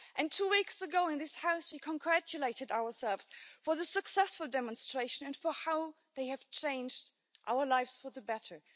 Two weeks ago in this House we congratulated ourselves on the successful demonstrations and how they have changed our lives for the better.